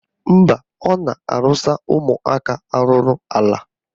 Mba, ọ na-arụsa ụmụaka arụla ala